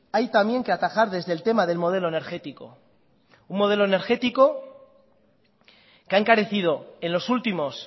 hay también que atajar desde el tema del modelo energético un modelo energético que ha encarecido en los últimos